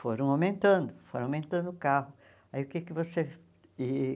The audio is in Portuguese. Foram aumentando, foram aumentando o carro. Aí o que que você e